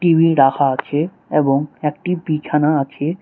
TV রাখা আছে এবং একটি বিছানা আছে।